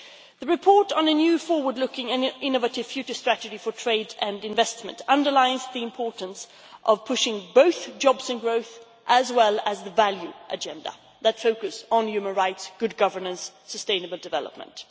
The report on a new forward looking and innovative future strategy for trade and investment underlines the importance of pushing both jobs and growth, as well as the value agenda that focused on human rights, good governance and sustainable development.